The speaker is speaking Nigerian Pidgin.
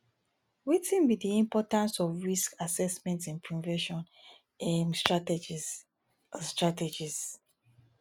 wetin be di importance of risk assessment in prevention um strategies um strategies